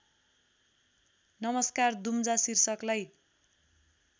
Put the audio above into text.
नमस्कार दुम्जा शीर्षकलाई